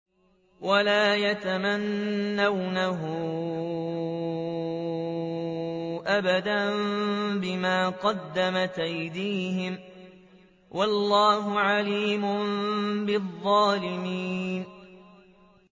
وَلَا يَتَمَنَّوْنَهُ أَبَدًا بِمَا قَدَّمَتْ أَيْدِيهِمْ ۚ وَاللَّهُ عَلِيمٌ بِالظَّالِمِينَ